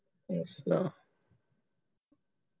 ਅੱਛਾ